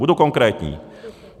Budu konkrétní.